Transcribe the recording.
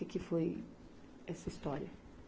Que que foi essa história?